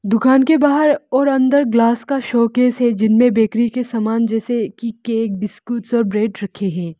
दुकान के बाहर और अंदर ग्लास का शो केस है जिनमे बेकरी के सामान जैसे कि केक बिस्कुट और ब्रेड रखे है।